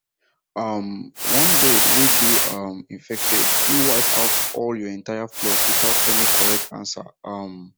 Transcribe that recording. um one bird way dey um infected fit wipe out all your entire flock without any correct answer um